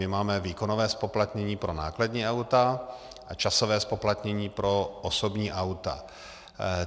My máme výkonové zpoplatnění pro nákladní auta a časové zpoplatnění pro osobní auta.